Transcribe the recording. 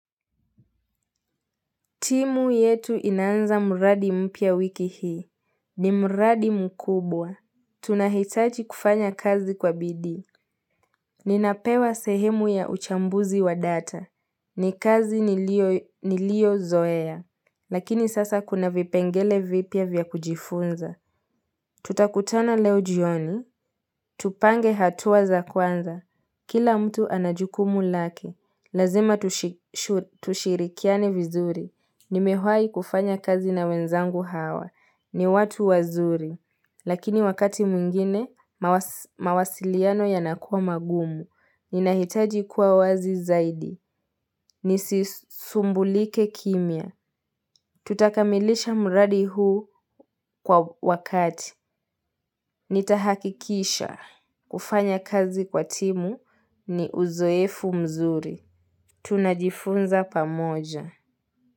Timu yetu inaanza mradi mpya wiki hii ni mradi mkubwa Tunahitaji kufanya kazi kwa bidii Ninapewa sehemu ya uchambuzi wa data ni kazi niliyozoea Lakini sasa kuna vipengele vipya vya kujifunza Tutakutana leo jioni Tupange hatua za kwanza Kila mtu ana jukumu lake Lazima tushirikiane vizuri Nimewahi kufanya kazi na wenzangu hawa. Ni watu wazuri. Lakini wakati mwingine, mawasiliano yanakuwa magumu. Ninahitaji kuwa wazi zaidi. Nisisumbulike kimya. Tutakamilisha mradi huu kwa wakati. Nitahakikisha. Kufanya kazi kwa timu ni uzoefu mzuri. Tunajifunza pamoja.